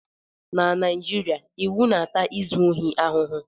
Na Naijiria, iwu na-ata izu ohi ahụhụ